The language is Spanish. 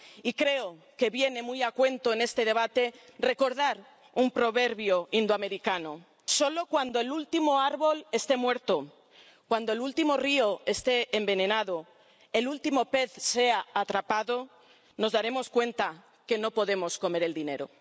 Y creo que viene muy a cuento en este debate recordar un proverbio indoamericano solo cuando el ultimo árbol este muerto, cuando el último río esté envenenado, el último pez sea atrapado, nos daremos cuenta de que no podemos comer el dinero.